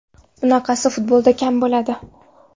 Bunaqasi futbolda kam bo‘ladi.